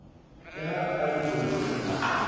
le ha a le monyenyane